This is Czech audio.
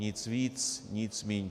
Nic víc, nic míň.